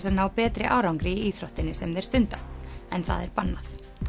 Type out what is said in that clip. að ná betri árangri í íþróttinni sem þeir stunda en það er bannað